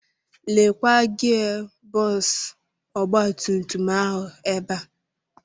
Lekwa gia bọksụ ọgbatumtum ahụ ebe a.